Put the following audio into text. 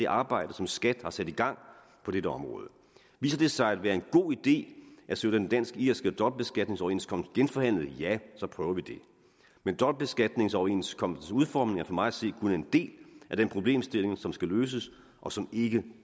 arbejde som skat har sat i gang på dette område viser det sig at være en god idé at søge den dansk irske dobbeltbeskatningsoverenskomst genforhandlet ja så prøver vi det men dobbeltbeskatningsoverenskomstens udformning er for mig at se kun en del af den problemstilling som skal løses og som ikke